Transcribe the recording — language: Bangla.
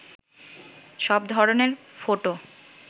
সব ধরনের ফটো